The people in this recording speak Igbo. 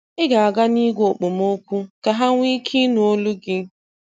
ị ga-aga n'igwe okpomọkụ ka ha wee nwee ike nụ olu gị